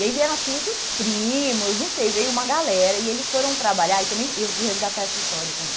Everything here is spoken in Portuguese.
E aí vieram, acho que muitos primos, não sei, veio uma galera e eles foram trabalhar e também eu fui resgatar essa história também.